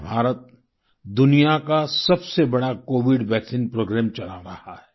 आज भारत दुनिया का सबसे बड़ा कोविड वैक्सीन प्रोग्राम चला रहा है